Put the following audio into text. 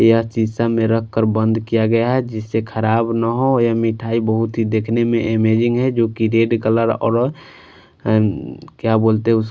यह शीशा जिससे खराब ना हो यह मिठाई बहुत ही देखने में अमेजिंग है जो की रेड कलर और क्या बोलते हैं उसको--